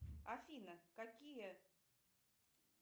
афина какие